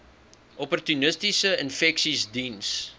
opportunistiese infeksies diens